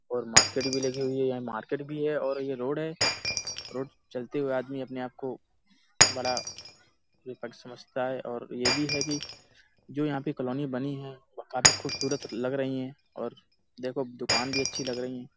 और मार्केट भी लगी हुई है। यहाँ मार्केट भी है और ये रोड है। रोड चलते हुए आदमी अपने आप को बड़ा समझता है और यह भी है कि जो यहाँ पे कॉलोनी बनी है। वह काफी खूबसूरत लग रही है और देखो दुकान भी अच्छी लग रही है।